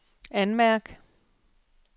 anmærk